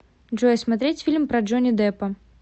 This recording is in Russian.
джой смотреть фильм про джони деппа